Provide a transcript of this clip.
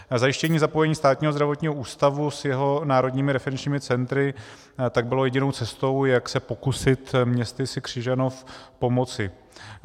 Zajištění zapojení Státního zdravotního ústavu s jeho národními referenčními centry tak bylo jedinou cestou, jak se pokusit městysi Křižanov pomoci.